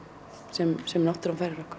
sem sem náttúran færir okkur